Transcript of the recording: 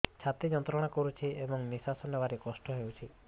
ଛାତି ଯନ୍ତ୍ରଣା କରୁଛି ଏବଂ ନିଶ୍ୱାସ ନେବାରେ କଷ୍ଟ ହେଉଛି